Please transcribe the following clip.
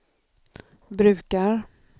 brukar